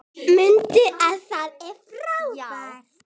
Munið að þið eruð frábær!